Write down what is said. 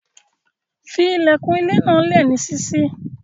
Fí ilẹ̀kun ilẹ̀ náà lé ní síṣí.